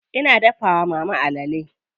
Ina dafa wa mama alale.